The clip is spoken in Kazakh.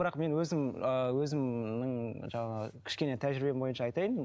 бірақ мен өзім ыыы өзімнің жаңағы кішкене тәжірибем бойынша айтайын